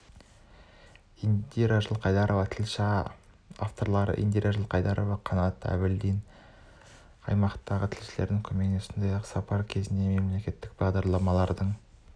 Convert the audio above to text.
индира жылқайдарова тілші авторлары индира жылқайдарова қанат әбілдин аймақтақы тілшілердің көмегімен сондай-ақ сапар кезінде мемлекеттік бағдарламалардың